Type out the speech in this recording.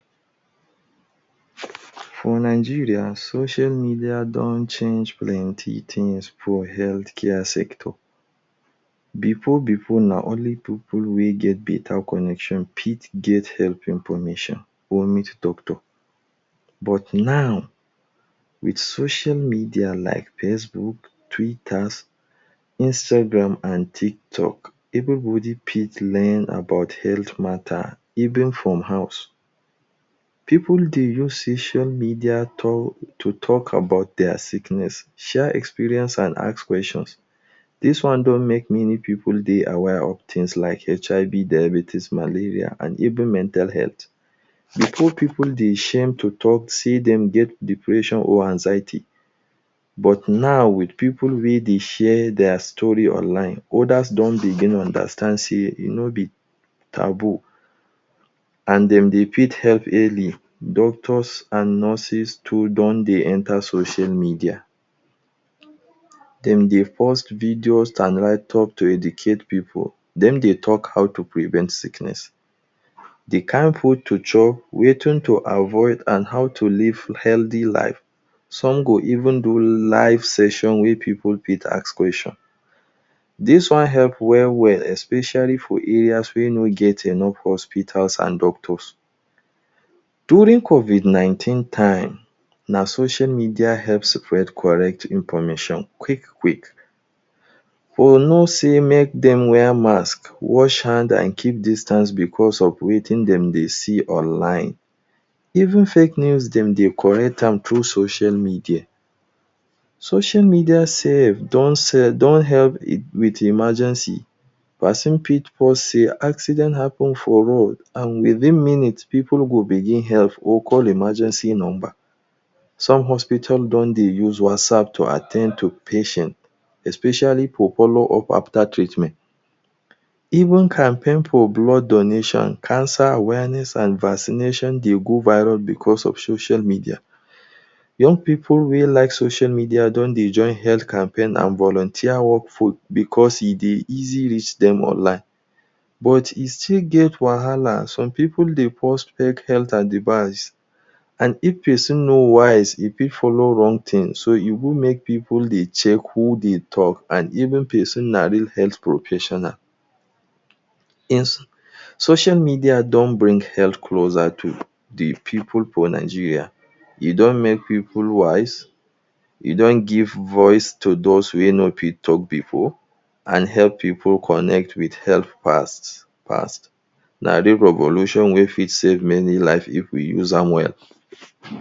For Nigeria, social media don change plenty things for healthcare sector. Before before, na only pipu wey get better connection fit get health information or meet doctor. But now, with social media like Facebook, Twitters, Instagram and TikTok, everybody fit learn about health mata even from house. People dey use social media talk to talk about dia sickness, share experience and ask questions. Dis one don make many pipu dey aware of things like; HIV, diabetes, malaria and even mental health. Before, pipu dey shame to talk sey dem get depression or anxiety, but now with pipu wey dey share dia story online, others don begin understand sey e no be taboo and dem dey fit help early. Doctors and nurses too don dey enter social media. Dem dey post videos and write-up to educate pipu. Dem dey talk how to prevent sickness, de kind food to chop, wetin to avoid and how to live healthy life. Some go even do live session wey pipu fit ask question. Dis one help well well especially for areas wey no get enough hospitals and doctors. During COVID nineteen time, na social media help separate correct information quick quick or know say make dem wear mask, wash hand, and keep distance because of wetin dem dey see online. Even fake news dem dey correct am through social media. Social media sef don don help with emergency. Pesin fit fall sick, accident happen for road and within minutes, pipu go begin help or call emergency number. Some hospital don dey use WhatsApp to at ten d to patient, especially for follow up after treatment. Even campaign for blood donation, cancer awareness and vaccination dey go viral because of social media. Young pipu wey like social media don dey join health campaign and volunteer work for because e dey easy reach dem online. But e still get wahala. Some pipu dey post fake health advice and if pesin no wise, e fit follow wrong things. So, e good make pipu dey check who dey talk and even pesin na real health professional. Social media don bring health closer to the pipu for Nigeria. E don make pipu wise, e don give voice to those wey no fit talk before and help pipu connect with health fast fast. Na dis evolution wey fit save many life if we use am well.